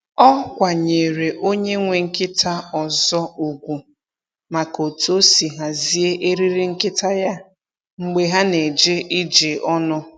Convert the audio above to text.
Ọ kwanyeere onye nwe nkịta ọzọ ugwu maka otú o si hazie eriri nkịta ya mgbe ha na-eje ije ọnụ.